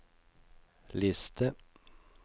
liste